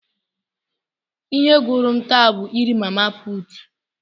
Ihe gụrụ m taa bụ nri mama putu.